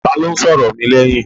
Ta ló ń sọ̀rọ̀ mi lẹ́yìn?